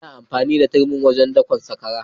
Ana amfani da turmi wajen dakan sakwara.